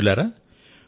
మిత్రులారా